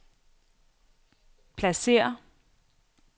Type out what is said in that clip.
pladsér